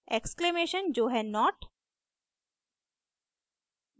exclamation ! जो है not